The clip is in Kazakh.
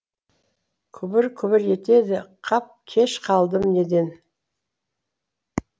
күбір күбір етеді қап кеш қалдым неден